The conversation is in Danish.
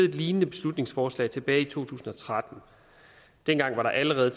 et lignende beslutningsforslag tilbage i to tusind og tretten dengang var der allerede